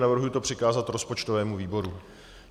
Navrhuji to přikázat rozpočtovému výboru.